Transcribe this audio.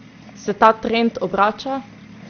Se ta trend obrača?